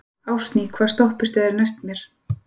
Ásný, hvaða stoppistöð er næst mér?